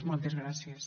moltes gràcies